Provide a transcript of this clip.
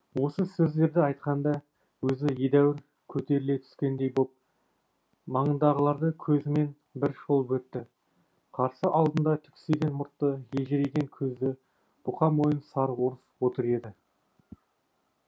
осы сөзді айтқанда өзі едәуір көтеріле түскендей боп маңындағыларды көзімен бір шолып өтті қарсы алдында түксиген мұртты ежірейген көзді бұқа мойын сары орыс отыр еді